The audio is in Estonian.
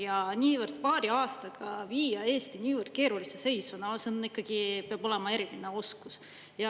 Ja paari aastaga viia Eesti niivõrd keerulisse, no see peab ikkagi olema eriline oskus.